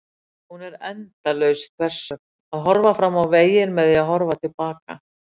Hún er endalaus þversögn: að horfa fram á veginn með því að horfa til baka.